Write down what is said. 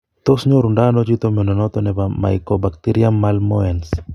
Tos nyorundo ano chito mnyondo noton nebo mycobacterium malmoense?